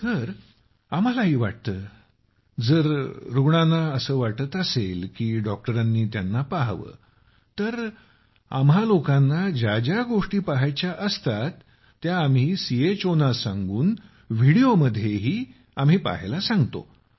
जी आम्हालाही वाटतं की जर रूग्णांना असं वाटत असेल की डॉक्टरांनी पहावं तर आम्हा लोकांना ज्या ज्या गोष्टी पहायच्या असतात त्या आम्ही लोक सीएचओंना सांगून व्हिडिओमध्येही आम्ही पहायला सांगतो